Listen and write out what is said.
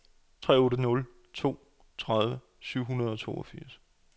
tre otte nul to tredive syv hundrede og toogfirs